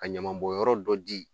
Ka ɲamabɔnyɔrɔ dɔ di